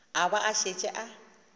a ba a šetše a